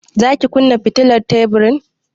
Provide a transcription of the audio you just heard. Za ki kunna fitilar teburin?